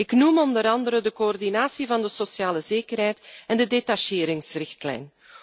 Ik noem onder andere de coördinatie van de sociale zekerheid en de detacheringsrichtlijn.